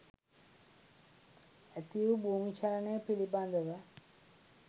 ඇතිවූ භූමිචලනය පිළිබඳව